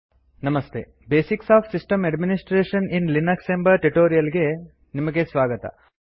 namaste basics of system administration in Linux ಎಂಬ tutorial ಗೆ ನಿಮಗೆ ಸ್ವಾಗತ